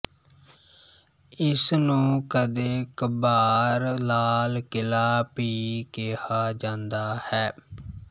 ਇਸਨੂੰ ਕਦੇ ਕਭਾਰ ਲਾਲ ਕਿਲਾ ਭੀ ਕਿਹਾ ਜਾਂਦਾ ਹੈ